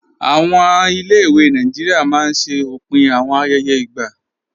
Awọn ilẹ̀-ìwé Nàìjíríà máa n ṣẹ̀ òpin awọn ayẹyẹ igba.